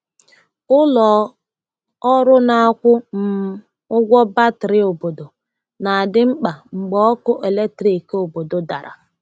Ụlọ ọrụ na-akwụ um ụgwọ batrị obodo na-adị mkpa mgbe ọkụ eletrik obodo dara.